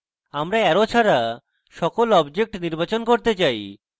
আমরা arrow ছাড়া সকল objects নির্বাচন করতে চাই